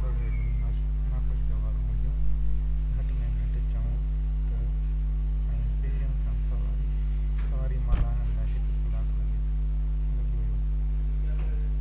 به گهڙيون ناخوشگوار هونديون گهٽ ۾ گهٽ چئون ته ۽ پهرين کي سواري مان لاهڻ لاءِ هڪ ڪلاڪ لڳي ويو